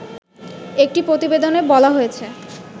একটি প্রতিবেদনে বলা হয়েছে